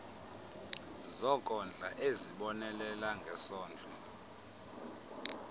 zokondla ezibonelela ngesondlo